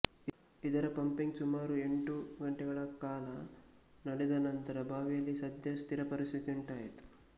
ಇದರ ಪಂಪಿಂಗ್ ಸುಮಾರು ಎಂಟು ಗಂಟೆಗಳ ಕಾಲ ನಡೆದ ನಂತರ ಬಾವಿಯಲ್ಲಿ ಸದ್ಯ ಸ್ಥಿರ ಪರಿಸ್ಥಿತಿಉಂಟಾಗಿತ್ತು